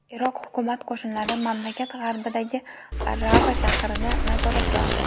Iroq hukumat qo‘shinlari mamlakat g‘arbidagi Rava shahrini nazoratga oldi.